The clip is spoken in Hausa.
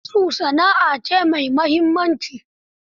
Su, sana'a a ce mai muhimmanci.